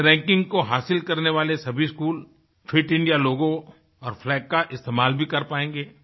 इस रैंकिंग को हासिल करने वाले सभी स्कूलफिट इंडियालोगो और फ्लैग का इस्तेमाल भी कर पाएंगे